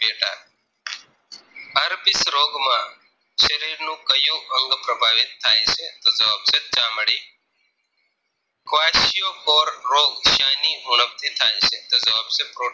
રોગ માં શરીરનું ક્યુ અંગ પ્રભાવિત થાય છે તો જવાબ છે ચામડી Kawashio for રોગ શાની ઉણપ થી થાય છે તો જવાબ છે protein